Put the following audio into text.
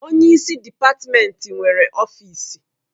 Onye isi dịpatmenti nwere ọfịsi.